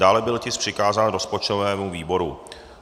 Dále byl tisk přikázán rozpočtovému výboru.